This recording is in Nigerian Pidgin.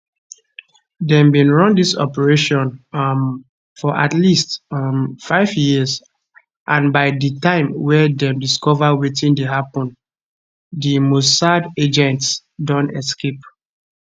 dem bin run dis operation um for at least five um years and by di time wey dem discover wetin dey happun di mossad agents don escape